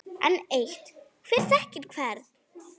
Enn eitt: Hver þekkir hvern?